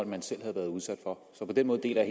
man selv havde været udsat for så på den måde deler